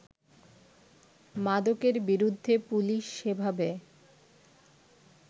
মাদকের বিরুদ্ধে পুলিশ সেভাবে